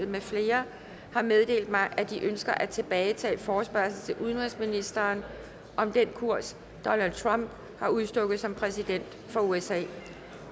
med flere har meddelt mig at de ønsker at tilbagetage forespørgsel til udenrigsministeren om den kurs donald trump har udstukket som præsident for usa